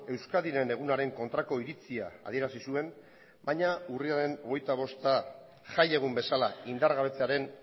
euskadiren egunaren kontrako iritzia adierazi zuen baina urriaren hogeita bosta jai egun bezala indargabetzearen